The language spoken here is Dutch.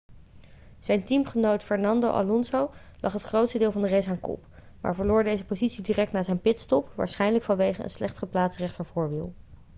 zijn teamgenoot fernando alonso lag het grootste deel van de race aan kop maar verloor deze positie direct na zijn pitstop waarschijnlijk vanwege een slecht geplaatst rechtervoorwiel